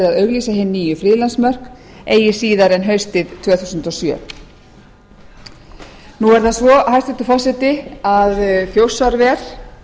að auglýsa hin nýju friðlandsmörk eigi síðar en haustið tvö þúsund og sjö nú er það svo hæstvirtur forseti að þjórsárver